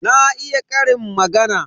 Na iya ƙarin magana.